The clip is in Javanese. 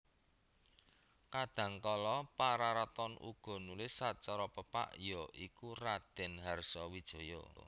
Kadhangkala Pararaton uga nulis sacara pepak ya iku Raden Harsawijaya